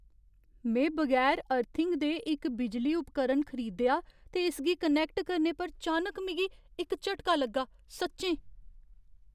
में बगैर अर्थिंग दे इक बिजली उपकरण खरीदेआ ते इसगी कनैक्ट करने पर चानक मिगी इक झटका लग्गा, सच्चें।